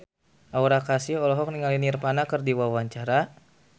Aura Kasih olohok ningali Nirvana keur diwawancara